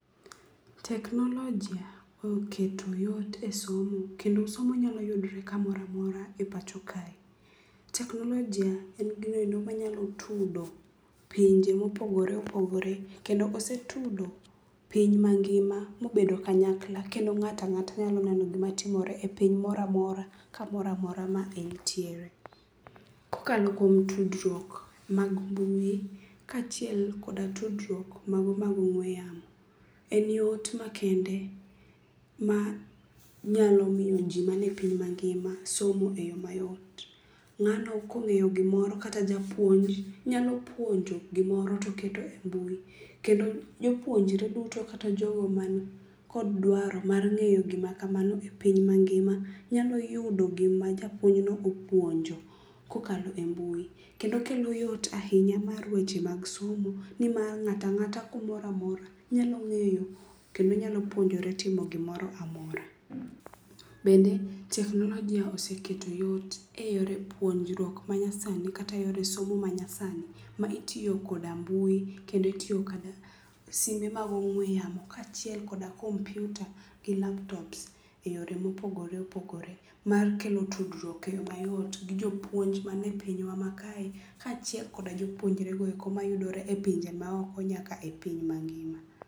Teknolojia oketo yot esomo kendo somo nyalo yudore kamoro amora e pacho kae. Teknolojia en gino ero manyalo tudo pinje mopogore opogore, kendo osetudo piny mangima mobedo kanyakla kendo ng'ato ang'ata nyalo neno gima timore e piny moro amora kamoro amora ma entiere. Kokalo kuom tudruok mag mbui, kaachiel kod tudruok mago mag ong'ue yamo. En yot makende manyalo miyo ji man e piny mangima somo e yo mayot. Ng'ano kong'eyo gimoro, kata japuonj nyalo puonjo gimoro to keto e mbui kendo jopuonjre duto kata jogo man kod dwaro mar ng'eyo gima kamano e piny mangima nyalo yudo gima japuonj no opuonjo kokalo e mbui. Kendo kelo yot ahinya mar weche mag somo nimar ng'ato ang'ata kumoro amora nyalo ng'eyo kendo nyalo puonjore timo gimoro amora. Bende teknolojia oseketo yot eyore puonjruok manyasani kata yore somo manyasani ma itiyo koda mbui kendo itiyo koda simbe mag ong'ue yamo, kaachiel koda kompiuta gi laptops eyore mopogore opogore mar kelo tudruok e yo mayot gi jopuonj man e pinywa ma kae, kaachiel kod jopuonjrego eko mayudore e pinje maoko nyaka e piny mangima.